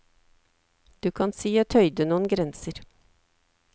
Du kan si jeg tøyde noen grenser.